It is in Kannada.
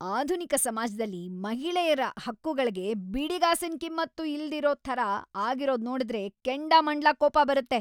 ಆಧುನಿಕ ಸಮಾಜ್ದಲ್ಲಿ ಮಹಿಳೆಯ್ರ ಹಕ್ಕುಗಳ್ಗೆ ಬಿಡಿಗಾಸಿನ್‌ ಕಿಮ್ಮತ್ತೂ ಇಲ್ದಿರೋ ಥರ ಆಗಿರೋದ್‌ ನೋಡುದ್ರೆ ಕೆಂಡಾಮಂಡ್ಲ ಕೋಪ ಬರತ್ತೆ.